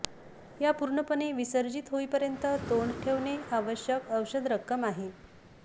या पूर्णपणे विसर्जित होईपर्यंत तोंड ठेवणे आवश्यक औषध रक्कम आहे